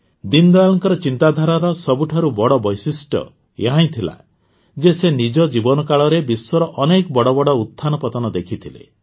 ଦୀନଦୟାଲଙ୍କ ଚିନ୍ତାଧାରାର ସବୁଠାରୁ ବଡ଼ ବୈଶିଷ୍ଟ୍ୟ ଏହା ଥିଲା ଯେ ସେ ନିଜ ଜୀବନକାଳରେ ବିଶ୍ୱର ଅନେକ ବଡ଼ ବଡ଼ ଉତ୍ଥାନ ପତନ ଦେଖିଥିଲେ